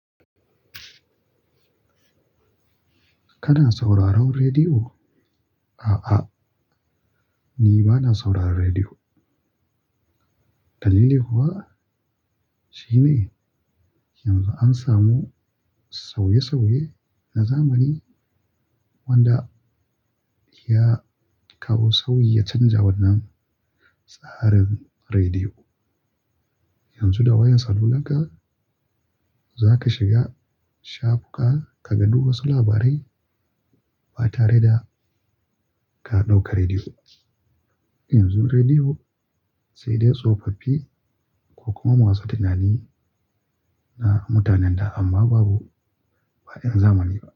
Kana sauraron rediyo? A'a, ni bana sauraron rediyo. Dalili kuwa shine yanzu an samu sauye-sauye na zamani wanda ya kawo sauyi ya canja wannan tsarin rediyo. Yanzu da wayar salular ka, za ka shiga shafuka ka ganu wasu labarai ba tare da ka ɗauka rediyo ba. Yanzu rediyo sai dai tsofaffi ko kuma masu tunani na mutanen da amma babu faɗin zamani ba.